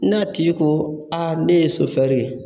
N'a tigi ko a ne ye sofɛri ye